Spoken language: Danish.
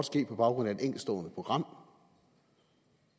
ske på baggrund af et enkeltstående program